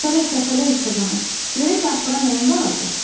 Səpələ-səpələ işığını, görək axıra nəyin qalacaq?